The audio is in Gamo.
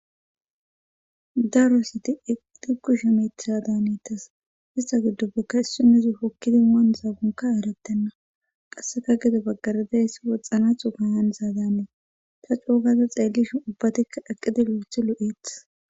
daro sati eqqidikku shemetisa daanetas ista giddo bekka issi nezi hokkidi muan zaagonka erettenna qasseka gido baggaradayssi woxxana xufayan zaadamee ta coogaza xeellishin ubbatikka aqqidi loothi lo7eethes